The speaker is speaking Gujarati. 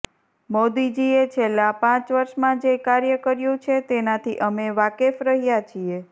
મોદીજીએ છેલ્લા પાંચ વર્ષમાં જે કાર્ય કર્યું છે તેનાથી અમે વાકેફ કરી રહ્યા છીએ